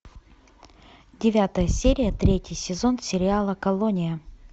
девятая серия третий сезон сериала колония